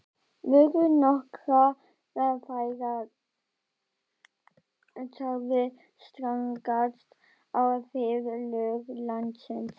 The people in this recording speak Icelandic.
Voru nokkrar þeirra sagðar stangast á við lög landsins.